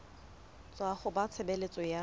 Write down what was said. tswa ho ba tshebeletso ya